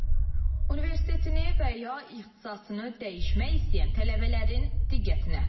Universiteti və ya ixtisasını dəyişmək istəyən tələbələrin diqqətinə.